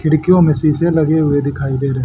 खिड़कियों में शीशे लगे हुए दिखाई दे रहे--